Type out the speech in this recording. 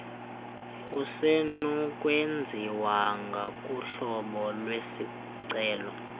kusenokwenziwa ngokohlobo lwesicelo